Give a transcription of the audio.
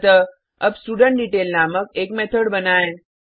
अतः अब स्टुडेंटडेटेल नामक एक मेथड बनाएँ